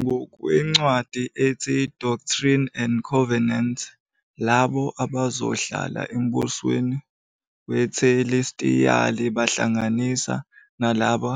Ngokwencwadi ethi Doctrine and Covenants, labo abazohlala embusweni wethelestiyali bahlanganisa nalabo